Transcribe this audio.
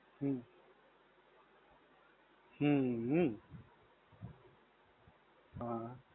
હમ. હમ. હા